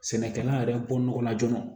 Sɛnɛkɛla yɛrɛ ko nɔgɔ la joona